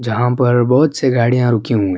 جہا پی بھوت سے گاڑیا رکی ہوئی ہے۔